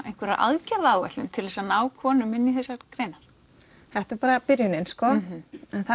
einhverja aðgerðaráætlun til þess að ná konum inn í þessar greinar þetta er bara byrjunin sko en það